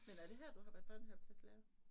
Men er det her du har været børnehaveklasselærer?